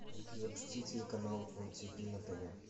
запусти телеканал отипи на тв